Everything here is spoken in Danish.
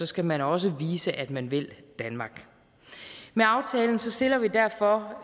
skal man også vise at man vil danmark med aftalen stiller vi derfor